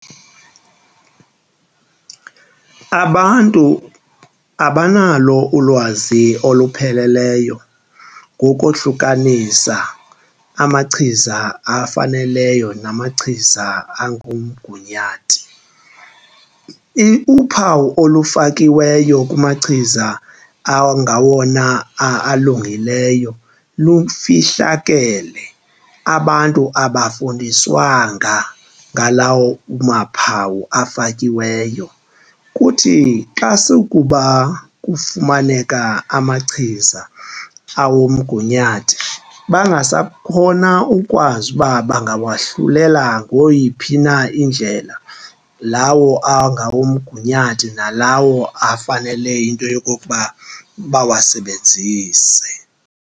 Abantu abanalo ulwazi olupheleleyo ngokohlukanisa amachiza afaneleyo namachiza angumgunyathi. Uphawu olufakiweyo kumachiza angawona alungileyo lufihlakele, abantu abafundiswanga ngalawo maphaphu afakiweyo. Kuthi xa sukuba kufumaneka amachiza awomgunyathi bangasakhona ukwazi uba bangawahlulela ngeyiphi na indlela lawo angawomgunyathi nalawo afanele into yokokuba bawasebenzise.